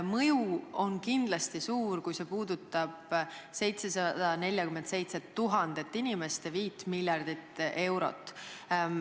Mõju on kindlasti suur, kui see eeldatavalt puudutab 747 000 inimest ja 5 miljardit eurot.